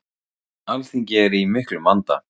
Alþingi er í miklum vanda.